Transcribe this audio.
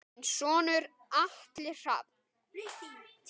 Þinn sonur Atli Rafn.